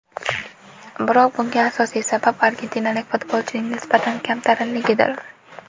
Biroq bunga asosiy sabab argentinalik futbolchining nisbatan kamtarinligidir.